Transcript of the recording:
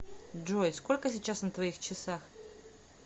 джой сколько сейчас на твоих часах